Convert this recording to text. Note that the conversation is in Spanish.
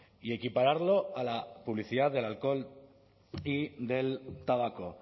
y equipararlo a la publicidad del alcohol y del tabaco